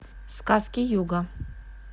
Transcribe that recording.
сказки юга